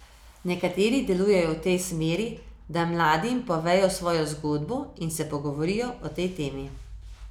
Nekateri delujejo v tej smeri, da mladim povejo svojo zgodbo in se pogovorijo o tej temi.